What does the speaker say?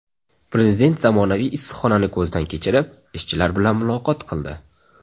Prezident zamonaviy issiqxonani ko‘zdan kechirib, ishchilar bilan muloqot qildi.